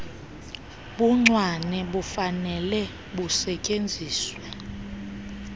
buncwane bufanele busetyenziswe